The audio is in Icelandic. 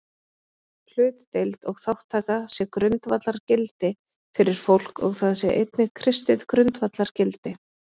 Hlutdeild og þátttaka sé grundvallargildi fyrir fólk og það sé einnig kristið grundvallargildi.